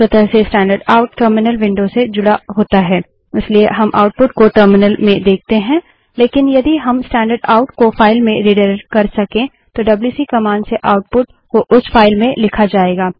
स्वतः से standard out terminal window से जुड़ा होता है इसलिए हम आउटपुट को टर्मिनल में देखते हैं लेकिन यदि हम स्टैंडर्ड आउट को फाइल में रिडाइरेक्ट कर सके तो डब्ल्यूसी कमांड से आउटपुट को उस फाइल में लिखा जायेगा